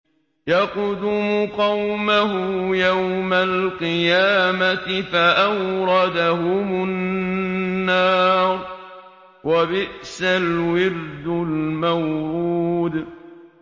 يَقْدُمُ قَوْمَهُ يَوْمَ الْقِيَامَةِ فَأَوْرَدَهُمُ النَّارَ ۖ وَبِئْسَ الْوِرْدُ الْمَوْرُودُ